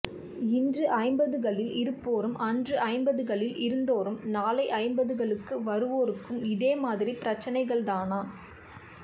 இன்று ஐம்பதுகளில் இருப்போரும் அன்று ஐம்பதுகளில் இருந்தோரும் நாளைஐம்பதுகளுக்கு வருவோருக்கும் இதே மாதிரி பிரச்சனைகள்தானா